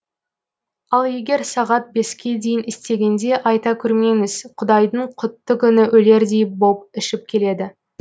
ал егер сағат беске дейін істегенде айта көрмеңіз құдайдың құтты күні өлердей боп ішіп келеді